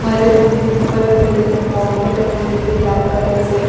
हरे भरे यहाँ पर पेड़ है बौंड़री बनी हुई है ब्लैक कलर से--